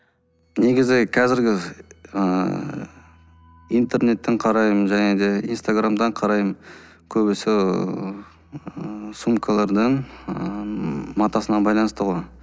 негізі қазіргі ыыы интернеттен қараймын және де инстаграмнан қараймын көбісі ыыы сумкалардан ыыы матасына байланысты ғой